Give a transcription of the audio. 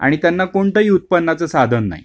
आणि त्यांना कोणताही उत्पन्नाचं साधन नाही